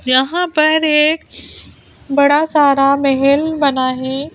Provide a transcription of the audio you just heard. यहां पर एक बड़ा सारा महल बना है।